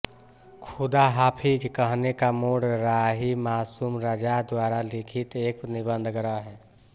ख़ुदा हाफ़िज़ कहने का मोड़ राही मासूम रज़ा द्वारा लिखित एक निबंध संग्रह है